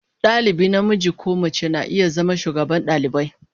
Dalibi namiji ko mace na iya zama shugaban dalibai.